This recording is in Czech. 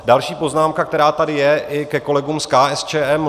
Další poznámka, která tady je, i ke kolegům z KSČM.